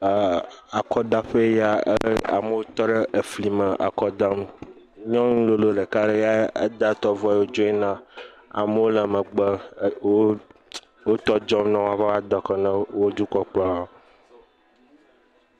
Eer akɔdaƒe eya, amewo tɔ ɖe fli me le akɔ dam. Nyɔnu lolo ɖeka ɖe ya da etɔ vɔ dzo yina. Amewo le megbe er wo wo ts tɔ dzɔm ne woava da akɔ ne wo dukɔkplɔha